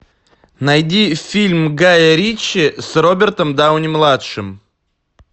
найди фильм гая ричи с робертом дауни младшим